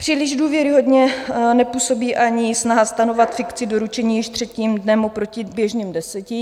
Příliš důvěryhodně nepůsobí ani snaha stanovovat fikci doručení již třetím dnem oproti běžným deseti.